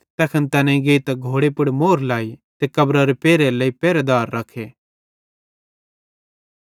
तैखन तैनेईं गेइतां घोड़े पुड़ मोहर लाई ते कब्ररारे पेरहे लेइ पेरहेदार रख्खे